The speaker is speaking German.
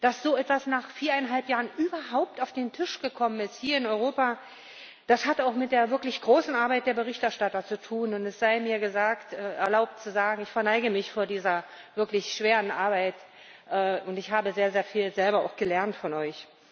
Dass so etwas nach viereinhalb Jahren überhaupt auf den Tisch gekommen ist hier in Europa, das hat auch mit der wirklich großen Arbeit der Berichterstatter zu tun, und es sei mir erlaubt zu sagen Ich verneige mich vor dieser wirklich schweren Arbeit, und ich habe selber auch sehr, sehr viel gelernt von euch.